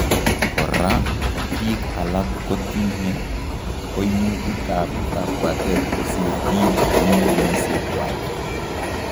Koraa biik alak kotinye koimutik ab kabwatet kosiir biik eng' kenyisiekwak